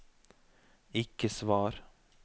ikke svar